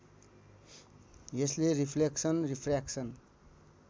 यसले reflection refraction